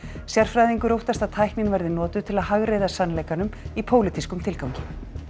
sérfræðingur óttast að tæknin verði notuð til að hagræða sannleikanum í pólitískum tilgangi